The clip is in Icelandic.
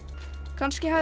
kannski hafði